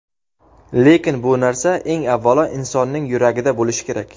Lekin bu narsa eng avvalo insonning yuragida bo‘lishi kerak.